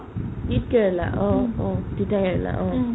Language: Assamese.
তিতকেৰেলা অ অ তিতাকেৰেলা অ